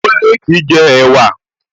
Kúnlé kìí jẹ ẹ̀wa